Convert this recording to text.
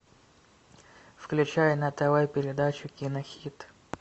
включай на тв передачу кинохит